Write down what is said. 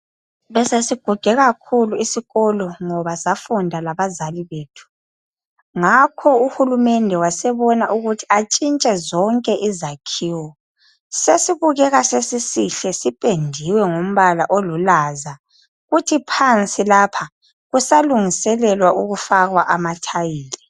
Besesiguge kakhulu isikolo ngoba safunda labazali bethu. Ngakho uhulumende wasebona ukuthi atshintshe zonke izakhiwo. Sesibukeka sesisihle, sipendiwe ngombala olulaza, futhi phansi lapha kusalungiselelwa ukufaka amathayili.